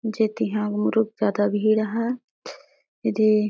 जेती ह बहुत जादा भीड़ हैं एदे--